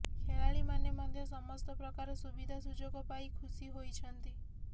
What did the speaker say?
ଖେଳାଳିମାନେ ମଧ୍ୟ ସମସ୍ତ ପ୍ରକାର ସୁବିଧା ସୁଯୋଗ ପାଇ ଖୁସୀ ହୋଇଛନ୍ତି